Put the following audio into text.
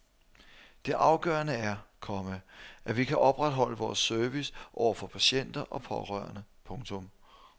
Det afgørende er, komma at vi kan opretholde vores service over for patienter og pårørende. punktum